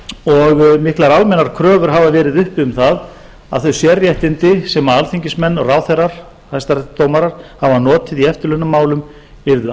og miklar almennar kröfur hafa verið uppi um það að þau sérréttindi sem alþingismenn og ráðherrar og hæstaréttardómarar hafa notið í eftirlaunamálum yrðu